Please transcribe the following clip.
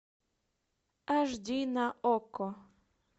аш ди на окко